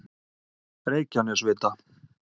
Reykjanesvita